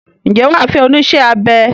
Ǹjẹ́ wà á fẹ́ onísẹ́-abẹ?